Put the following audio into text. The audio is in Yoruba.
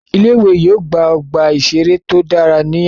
Ilé ìwé yóò gba ọgbà ìṣeré tó dára ní àìpẹ́